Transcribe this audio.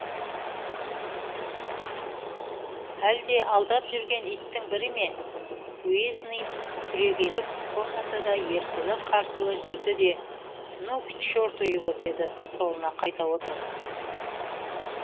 әлде алдап жүрген иттің бірі ме уездный түрегеліп комнатада ерсілі қарсылы жүрді де ну к черту его деді столына қайта отырып